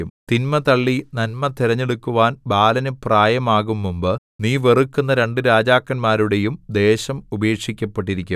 തിന്മ തള്ളി നന്മ തിരഞ്ഞെടുക്കുവാൻ ബാലനു പ്രായമാകുംമുമ്പ് നീ വെറുക്കുന്ന രണ്ടു രാജാക്കന്മാരുടേയും ദേശം ഉപേക്ഷിക്കപ്പെട്ടിരിക്കും